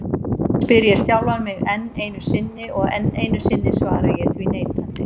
spyr ég sjálfan mig enn einu sinni, og enn einu sinni svara ég því neitandi.